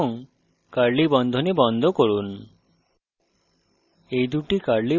enter টিপুন এবং curly বন্ধনী বন্ধ করুন